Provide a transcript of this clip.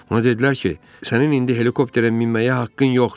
Ona dedilər ki, sənin indi helikopterə minməyə haqqın yoxdur.